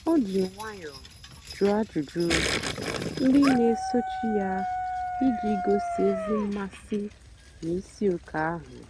o jì nwayọ́ọ́ jụ́ọ́ àjụ́jụ́ ndí na-èsòchì ya ijì gòsí ézì mmásị́ n'ìsìòké ahụ́.